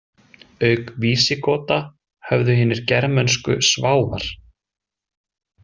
Auk Vísigota höfðu hinir germönsku Sváfar.